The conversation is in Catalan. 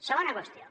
segona qüestió